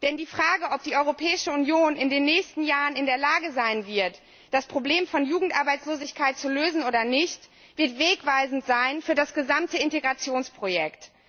Denn die Frage, ob die Europäische Union in den nächsten Jahren in der Lage sein wird, das Problem von Jugendarbeitslosigkeit zu lösen oder nicht, wird wegweisend sein für das gesamte Integrationsprojekt.